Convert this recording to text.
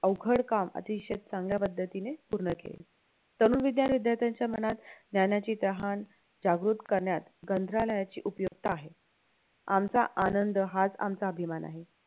अवघड काम अतीशय चांगल्या पद्धतीने पूर्ण केले तरुण विद्यार्थ्यांच्या मनात ज्ञानाची तहान जागृत करण्यात उपयुक्त आहे आमचा आनंद हाच आमचा अभिमान आहे